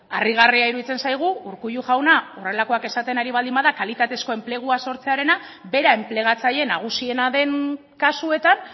harrigarria iruditzen zaigu urkullu jauna horrelakoak esaten ari baldin bada kalitatezko enplegua sortzearena bera enplegatzaile nagusiena den kasuetan